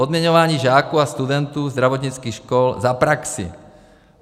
Odměňování žáků a studentů zdravotnických škol za praxi.